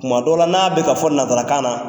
Tuma dɔw la n'a bɛka ka fɔ nansarakan na